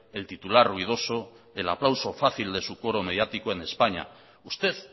el titular ruidoso el aplauso fácil de su coro mediático en españa usted